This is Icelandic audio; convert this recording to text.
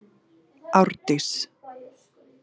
Árdís